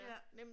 ja